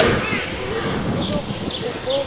এইটো পগ